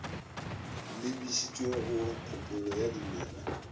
lebišitšwe go kopolo ya dimela